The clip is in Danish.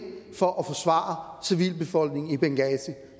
for at forsvare civilbefolkningen i benghazi